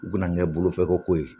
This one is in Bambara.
U bɛna kɛ bolofɛkoko ye